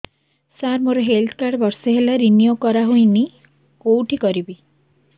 ସାର ମୋର health card ବର୍ଷେ ହେଲା ରିନିଓ କରା ହଉନି କଉଠି କରିବି